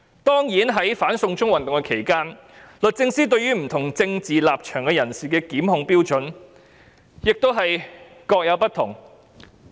當然，在"反送中"運動期間，律政司對於不同政治立場的人士的檢控標準也各有不同。